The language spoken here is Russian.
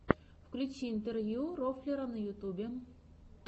включи интервью рофлера на ютюбе